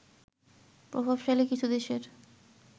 প্রভাবশালী কিছু দেশের